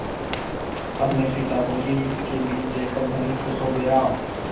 अपने पिता को भी इनके बीच देखकर धनी खुश हो गया